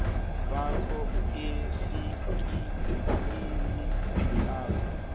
bakho esikimini sakho